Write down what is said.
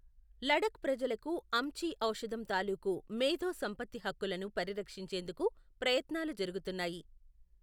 లడఖ్ ప్రజలకు అమ్చి ఔషధం తాలూకు మేధో సంపత్తి హక్కులను పరిరక్షించేందుకు ప్రయత్నాలు జరుగుతున్నాయి.